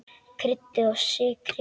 Kryddið og sykrið.